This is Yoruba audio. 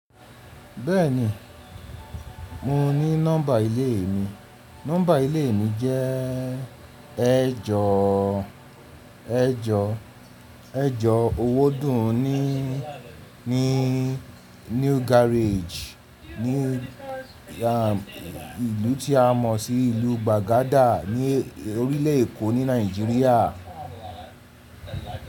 Bẹ́ẹ̀ni, mo ní nọ́mbà ilé mi. Nọ́mbà ilé mi jẹ́ ẹjọ́, ẹjọ́, ẹjọ́ owó dùn ní, ní New Garage, ní ìlú tí a mọ̀ sí ìlú gbagada, ní orílè-Èkó ní Nigeria.